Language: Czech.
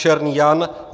Černý Jan